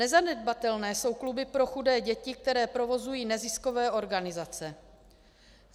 Nezanedbatelné jsou kluby pro chudé děti, které provozují neziskové organizace.